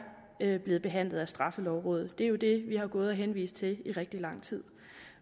blevet behandlet af straffelovrådet det er jo det vi har henvist til i rigtig lang tid